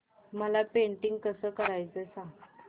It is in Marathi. मला पेंटिंग कसं करायचं सांग